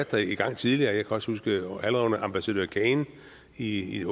været i gang tidligere jeg kan også huske at allerede under ambassadør cain i